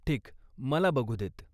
ठीक, मला बघू देत.